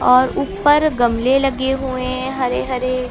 और ऊपर गमले लगे हुए हैं हरे हरे।